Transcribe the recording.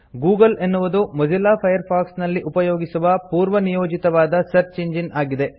Google ಎನ್ನುವುದು Mozilla Firefox ನಲ್ಲಿ ಉಪಯೋಗಿಸುವ ಪೂರ್ವನಿಯೋಜಿತವಾದ ಸರ್ಚ್ ಇಂಜಿನ್ ಆಗಿದೆ